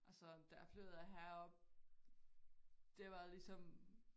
Og så da jeg flyttede herop det var ligesom